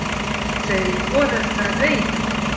Hann segir foreldra reiða.